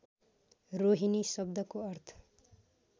रोहिणी शब्दको अर्थ